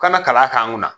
Kana kalan k'an kunna